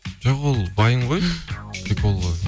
жоқ ол вайн ғой прикол ғой